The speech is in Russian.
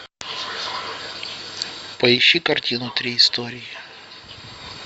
поищи картину три истории